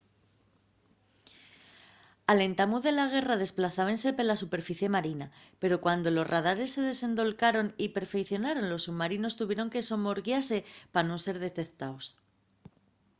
al entamu de la guerra desplazábense pela superficie marina pero cuando los radares se desendolcaron y perfeicionaron los submarinos tuvieron de somorguiase pa nun ser detectaos